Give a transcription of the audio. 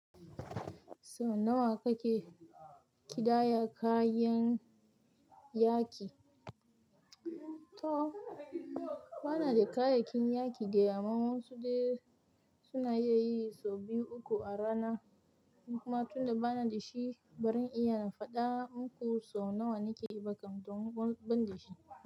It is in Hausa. So nawa kake ƙidaya kayan yaƙi? To bana da kayakin yaƙi dai amma wa ensu dai suna iya yi sau biyu uku a rana. Kuma tunda bana da shi, baran iya faɗa muku so nawa nake yi ba kam don ban da shi.